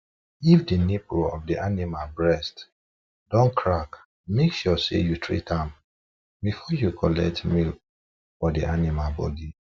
if the nipple of the animal breast don crack make sure say you treat am before you collect milk from the animal body